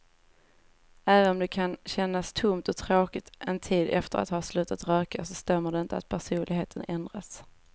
Även om det kan kännas tomt och tråkigt en tid efter att ha slutat röka så stämmer det inte att personligheten ändras.